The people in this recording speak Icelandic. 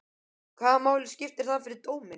Hvaða máli skiptir það fyrir dóminn?